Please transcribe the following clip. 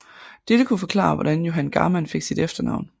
Dette kunne forklare hvordan Johan Garmann fik sit efternavn